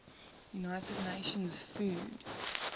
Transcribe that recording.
united nations food